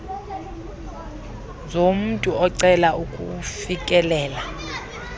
zomntu ocela ukufikelela